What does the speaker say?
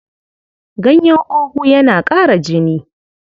Ganyen ogu yana ƙara jini.